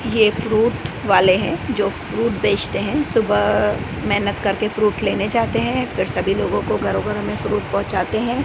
यह फ्रूट वाले हैं जो फ्रूट बेचते हैं सुबह मेहनत करके फ्रूट लेने जाते हैं फिर सभी लोगों को घरों घरों में फ्रूट पहुंचाते हैं।